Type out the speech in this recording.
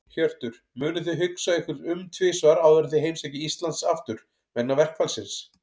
Hjörtur: Munuð þið hugsa ykkur um tvisvar áður en þið heimsækið Íslands aftur, vegna verkfallsins?